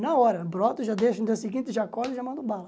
Na hora, brota, já deixa no dia seguinte, já acorda e já manda bala.